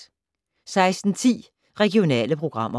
16:10: Regionale programmer